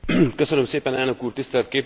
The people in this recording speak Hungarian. Tisztelt képviselőtársaim!